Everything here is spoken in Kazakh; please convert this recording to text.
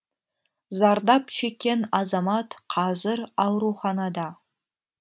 зардап шеккен азамат қазір ауруханада